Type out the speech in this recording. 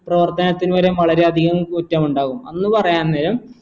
ഒരു ഓർക്കാനത്തിനു വരേം വളരെ അധികം കുറ്റമുണ്ടാകും എന്ന് പറയാൻ നേരം